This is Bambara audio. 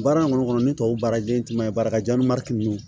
Baara in kɔni kɔnɔ ni tubabu baara ye tunma ye baarakajan ni minnu